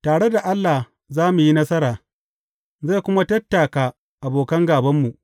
Tare da Allah za mu yi nasara, zai kuma tattaka abokan gābanmu.